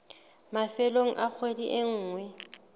mafelong a kgwedi e nngwe